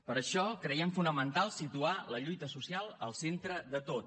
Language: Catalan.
per això creiem fonamental situar la lluita social al centre de tot